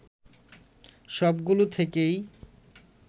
সবগুলো থেকেই